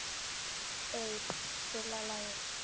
Bebba, spilaðu lag.